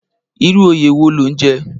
Irú óyé wó ló n jè?